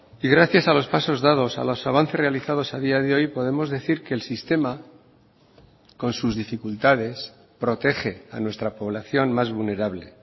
y gracias a los pasos dados a los avances realizados a día de hoy podemos decir que el sistema con sus dificultades protege a nuestra población más vulnerable